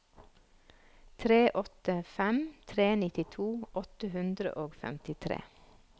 tre åtte fem tre nittito åtte hundre og femtitre